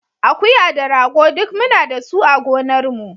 Akuya da rago duk muna da su a gonarmu.